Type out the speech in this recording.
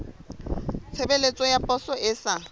tshebeletso ya poso e sa